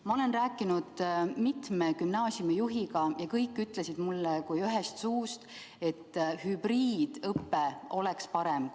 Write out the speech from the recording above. Ma olen rääkinud mitme gümnaasiumijuhiga ja kõik ütlesid mulle kui ühest suust, et hübriidõpe oleks parem.